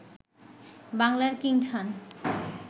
বাংলার কিং খান